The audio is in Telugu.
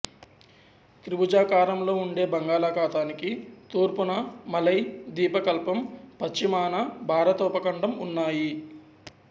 త్రిభుజాకారంలో ఉండే బంగాళాఖాతానికి తూర్పున మలై ద్వీపకల్పం పశ్చిమాన భారత ఉపఖండం ఉన్నాయి